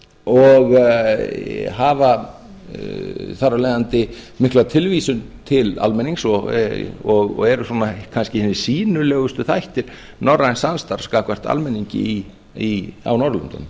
og hafa þar af leiðandi mikla tilvísun til almennings og eru kannski hinir sýnilegustu þættir norræns samstarfs gagnvart almenningi á norðurlöndunum